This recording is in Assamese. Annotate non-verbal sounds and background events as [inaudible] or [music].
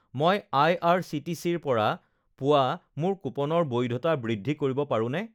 [noise] মই আইআৰচিটিচিৰ পৰা পোৱা মোৰ কুপনৰ বৈধতা বৃদ্ধি কৰিব পাৰোঁনে